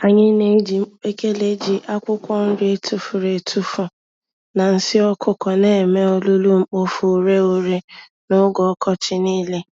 Anyị n'eji mkpekele ji, akwụkwọ nri etufuru-etufu na nsị ọkụkọ némè' olulu-mkpofu-ureghure n'oge ọkọchị nile.